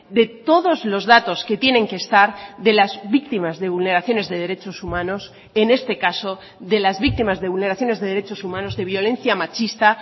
de todos los datos que tienen que estar de las víctimas de vulneraciones de derechos humanos en este caso de las víctimas de vulneraciones de derechos humanos de violencia machista